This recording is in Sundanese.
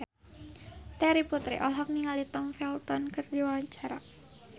Terry Putri olohok ningali Tom Felton keur diwawancara